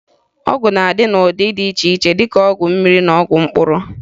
Ọgwụ na-adị n'ụdị dị iche iche dịka ọgwụ mmiri na mkpụrụ ọgwụ